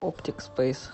оптик спэйс